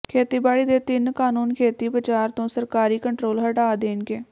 ਖੇਤੀਬਾੜੀ ਦੇ ਤਿੰਨ ਕਾਨੂੰਨ ਖੇਤੀ ਬਾਜ਼ਾਰ ਤੋਂ ਸਰਕਾਰੀ ਕੰਟਰੋਲ ਹਟਾ ਦੇਣਗੇ